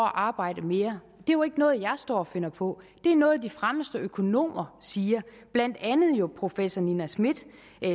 at arbejde mere det er jo ikke noget jeg står og finder på det er noget de fremmeste økonomer siger professor nina smith